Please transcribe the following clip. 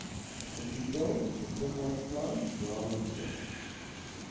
getitel besigheidsplan jaarlikse